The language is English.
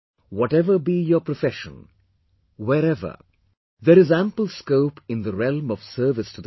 Whatever be your profession; wherever, there is ample scope in the realm of service to the country